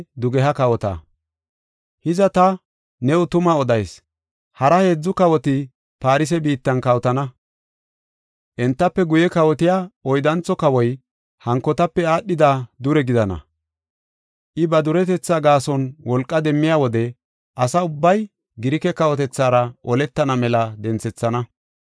“Hiza ta new tuma odayis. Hara heedzu kawoti Farse biittan kawotana; entafe guye kawotiya oyddantho kawoy, hankotape aadhida dure gidana. I ba duretetha gaason wolqa demmiya wode, asa ubbay Girike kawotethaara oletana mela denthethana.